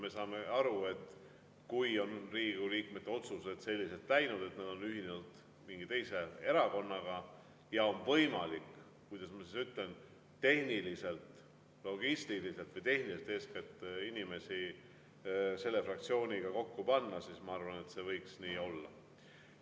Me saame aru, et kui Riigikogu liikmete otsused on selliselt läinud, et nad on ühinenud mingi teise erakonnaga, ja on võimalik, kuidas ma ütlen, eeskätt logistiliselt või tehniliselt panna inimesi selle fraktsiooni, siis ma arvan, et see võiks nii olla.